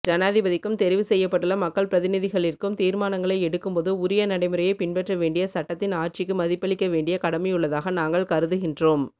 ஜனாதிபதிக்கும் தெரிவுசெய்யப்பட்டுள்ள மக்கள் பிரதிநிதிகளிற்கும் தீர்மானங்களை எடுக்கும்போது உரிய நடைமுறையை பின்பற்றவேண்டிய சட்டத்தின் ஆட்சிக்கு மதிப்பளிக்கவேண்டிய கடமையுள்ளதாக நாங்கள் கருதுகின்றோம்